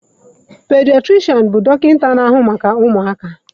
Pediatrishan bụ dọkịta na-ahụ maka ụmụaka.